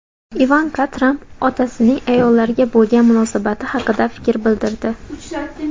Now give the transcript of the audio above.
Ivanka Tramp otasining ayollarga bo‘lgan munosabati haqida fikr bildirdi.